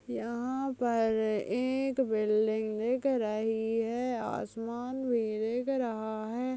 यहाँ पर एक बिल्डिंग दिख रही है आसमान भी दिख रहा है।